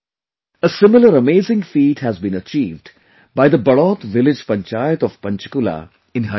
A similar amazing feat has been achieved by the Badaut village Panchayat of Panchkula in Haryana